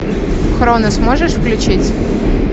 хронос можешь включить